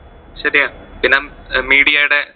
ശെരിയാ പിന്നെ. അഹ് media ടെ